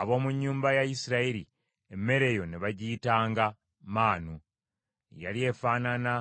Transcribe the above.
Ab’omu nnyumba ya Isirayiri, emmere eyo ne bagiyitanga maanu. Yali efaanana